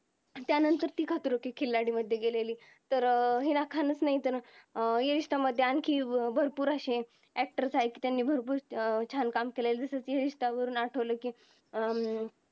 त्या नंतर ती खतरो के खिलाडी मध्ये गेलेली तर अं हिला खणत नाही तर या रिश्ता मध्ये आणखी भरपूर असे actor आहे त्यांनी भरपूर अं छान काम केलेले ये रिश्ता वरून आठवलं कि